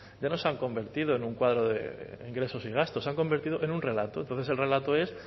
ya no se han convertido en un cuadro de ingresos y gastos se han convertido en un relato entonces el relato es